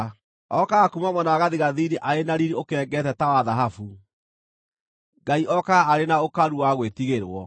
Okaga kuuma mwena wa gathigathini arĩ na riiri ukengeete ta wa thahabu; Ngai okaga arĩ na ũkaru wa gwĩtigĩrwo.